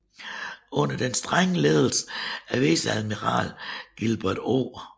Under den strenge ledelse af viceadmiral Gilbert O